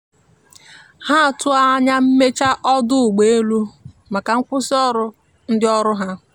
um ọdo ụgbọ ala juputara na madu maka ndi ọkwọ ụgbọ ala hapụrụ ọrụ n'ihi mmebi nkwekorita